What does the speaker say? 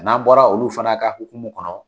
N'an bɔra olu fana ka hukumu kɔnɔ